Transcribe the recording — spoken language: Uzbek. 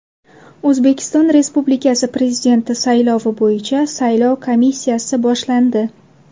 O‘zbekiston Respublikasi Prezidenti saylovi bo‘yicha saylov kampaniyasi boshlandi.